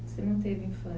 Você não teve